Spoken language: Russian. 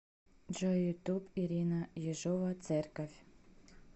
джой ютуб ирина ежова церковь